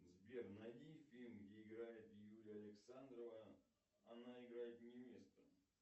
сбер найди фильм где играет юлия александрова она играет невесту